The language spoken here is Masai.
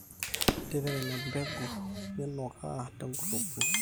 tipika ina mpegu ninukaa tenkulukuoni